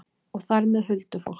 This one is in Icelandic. Og þar með huldufólk?